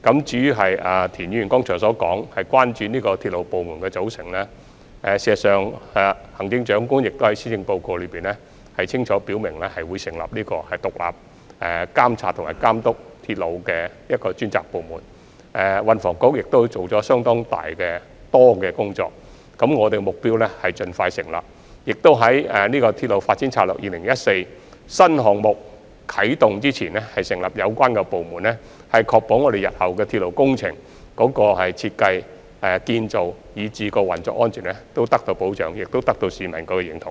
至於田議員剛才表示關注鐵路部門的組成，事實上，行政長官在施政報告中已清楚表明會成立監察及監督鐵路的獨立專責部門，運輸及房屋局已做了相當多的工作，我們的目標是盡快成立有關部門，且在《鐵路發展策略2014》的新項目啟動前成立有關部門，以確保日後鐵路工程的設計、建造，以至運作安全都得到保障，並得到市民的認同。